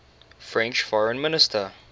french foreign minister